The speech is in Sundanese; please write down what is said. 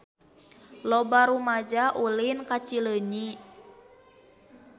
Loba rumaja ulin ka Cileunyi